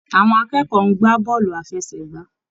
Àwọn akẹ́kọ̀ọ́ ń gbà bọ́ọ̀lù àfẹsẹ̀gbá.